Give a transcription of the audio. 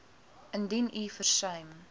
indien u versuim